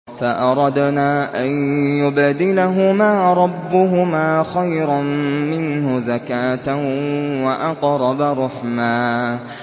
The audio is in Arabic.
فَأَرَدْنَا أَن يُبْدِلَهُمَا رَبُّهُمَا خَيْرًا مِّنْهُ زَكَاةً وَأَقْرَبَ رُحْمًا